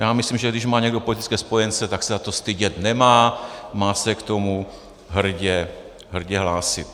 Já myslím, že když má někdo politické spojence, tak se za to stydět nemá, má se k tomu hrdě hlásit.